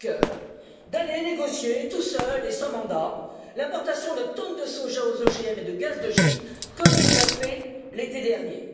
Juncker d'aller négocier tout seul et sans mandat l'importation de tonnes de soja aux OGM et de gaz de schiste, comme il l'a fait l'été dernier.